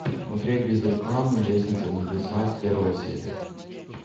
смотреть без рекламы лестница в небеса первая серия